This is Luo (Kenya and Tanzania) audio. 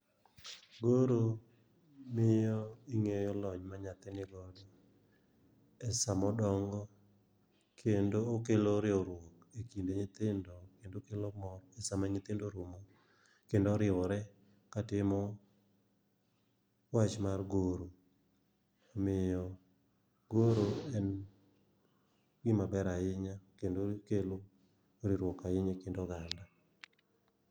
Goro miyo ing'eyo lony ma nyathi nigodo, e sa modongo. Kendo okelo riwruok e kind nyithindo kendo okelo mor e sama nyithindo oromo kendo oriwore ka timo wach mar goro. Omiyo goro en gima ber ahinya kendo okelo riwruok ahinya e kind oganda.